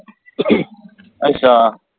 ਅਸ਼ਾ